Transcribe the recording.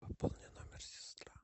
пополни номер сестра